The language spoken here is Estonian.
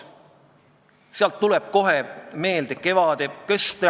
Lõpuks avaldati arvamust, kas suunata eelnõu esimesele lugemisele ja teha ettepanek see lõpetada.